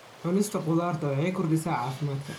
Cunista khudaarta waxay kordhisaa caafimaadka.